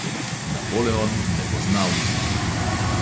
Napoleon ne pozna usmiljenja.